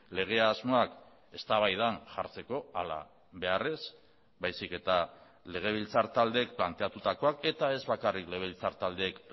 lege asmoak eztabaidan jartzeko halabeharrez baizik eta legebiltzar taldeek planteatutakoak eta ez bakarrik legebiltzar taldeek